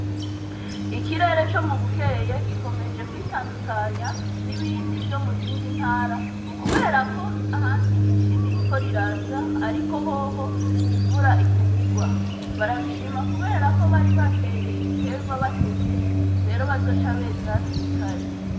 Ikirere co mu Bukeye gikomeje kwitandukanya n'ibindi vyo muzindi ntara, kubera ko ahandi ici ririko riraza, ariko hoho imvura iguma igwa, barabishima kubera ko bari bateye ibiterwa batevye, rero bazoca beza hakiri kare.